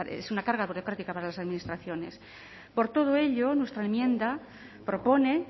es una carga burocrática para las administraciones por todo ello nuestra enmienda propone